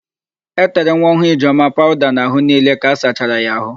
E tere nwaọhụụ Ijeọma pawụda n'àhụ́ niile ka a sachara ya àhụ́.